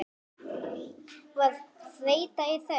Var þreyta í þeim?